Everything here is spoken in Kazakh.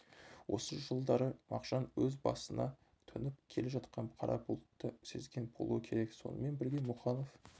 осы жылдары мағжан өз басына төніп келе жатқан қара бұлтты сезген болуы керек сонымен бірге мұқанов